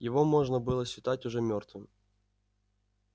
его можно было считать уже мёртвым